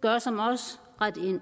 gør som os ret ind